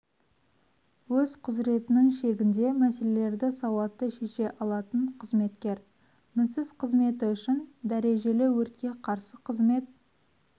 өз құзыретінің шегінде мәселелерді сауатты шеше алатын қызметкер мінсіз қызметі үшін дәрежелі өртке қарсы қызмет